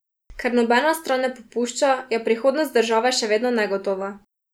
Ker nobena stran ne popušča, je prihodnost države še vedno negotova.